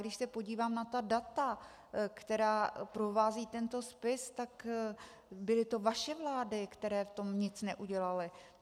Když se podívám na ta data, která provázejí tento spis, tak byly to vaše vlády, které v tom nic neudělaly.